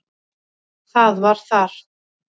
Það var þar.